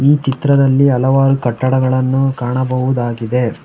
ಈ ಚಿತ್ರದಲ್ಲಿ ಹಲವಾರು ಕಟ್ಟಡಗಳನ್ನು ಕಾಣಬಹುದಾಗಿದೆ.